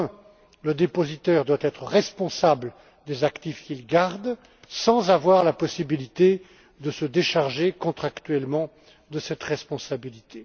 Premièrement, le dépositaire doit être responsable des actifs qu'il garde, sans avoir la possibilité de se décharger contractuellement de cette responsabilité.